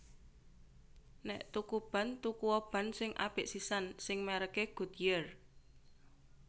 Nek tuku ban tuku o ban sing apik sisan sing merk e Goodyear